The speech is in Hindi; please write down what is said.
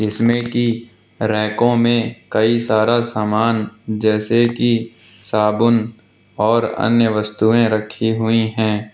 इसमें की रैकों में कई सारा सामान जैसे कि साबुन और अन्य वस्तुएं रखी हुई हैं।